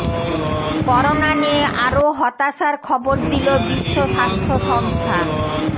corona নিয়ে আরো হতাশার খবর দিল বিশ্ব স্বাস্থ্য সংস্থা